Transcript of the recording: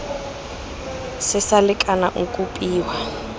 se sa lekana o kopiwa